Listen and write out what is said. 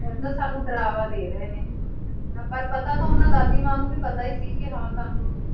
ਉਹ ਤਾਂ ਸਾਨੂੰ ਡਰਾਵਾ ਦੇ ਰਹੇ ਨੇ, ਹਨਾ ਪਰ ਪਤਾ ਤਾਂ ਓਨਾ ਦਾਦੀ ਮਾਂ ਨੂੰ ਵੀ ਪਤਾ ਹੀ ਸੀ ਕਿ ਹਾਂ ਸਾਨੂੰ